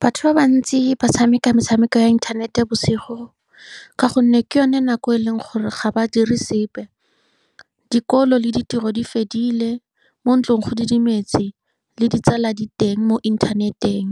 Batho ba bantsi ba tshameka metshameko ya inthanete bosigo, ka gonne ke yone nako e e leng gore ga ba dire sepe, dikolo le ditiro di fedile, mo ntlong go didimetse, le ditsala di teng mo internet-eng.